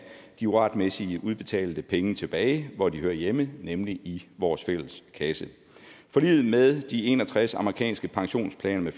de uretmæssigt udbetalte penge tilbage hvor de hører hjemme nemlig i vores fælles kasse forliget med de en og tres amerikanske pensionsplaner